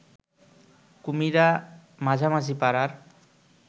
কুমিরা মাঝামাঝি পাড়ার